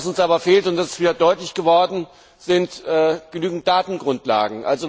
Was uns aber fehlt und das ist wieder deutlich geworden sind genügend Datengrundlagen.